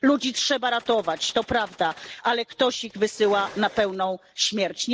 Ludzi trzeba ratować, to prawda, ale ktoś ich wysyła na pewną śmierć.